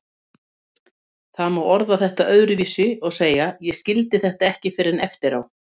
Það má orða þetta öðruvísi og segja: Ég skildi þetta ekki fyrr en eftir á.